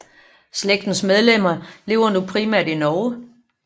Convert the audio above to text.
Slægtens medlemmer lever nu primært i Norge